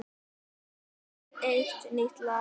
Svo er eitt nýtt lag.